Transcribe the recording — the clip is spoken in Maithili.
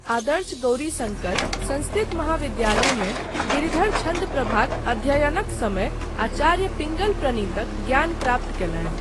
आदर्श गौरीशङ्कर संस्कृत महाविद्यालयमे गिरिधर छन्दप्रभाक अध्ययनक समय आचार्य पिङ्गल प्रणीतक ज्ञान प्राप्त कयलनि।